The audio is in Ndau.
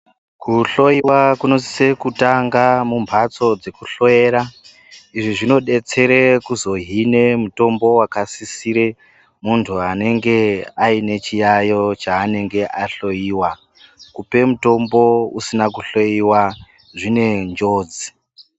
Kuhloiwa kunosise kutanga mumbatso dzekuhloyera, izvi zvinodetserae kuzohine mutombo wakasisire muntu anenge aine chiyayo chaanenge ahloiwa, kupe mutombo usina kuhloiwa zvinenjodzi.